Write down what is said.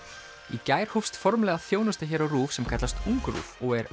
í gær hófst formlega þjónusta hér á RÚV sem kallast UngRÚV og er